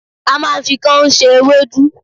A máa ń fi káún se ewédú